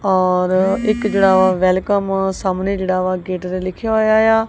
ਔਰ ਇੱਕ ਜਿਹੜਾ ਵੈਲਕਮ ਸਾਹਮਣੇ ਜਿਹੜਾ ਵਾ ਗੇਟ ਦੇ ਲਿਖਿਆ ਹੋਇਆ ਏ ਆ।